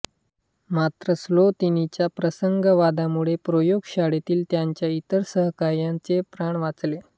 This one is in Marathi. मात्र स्लोतिनच्या प्रासंगावधानामुळे प्रयोगशाळेतील त्याच्या इतर सहकाऱ्यांचे प्राण वाचले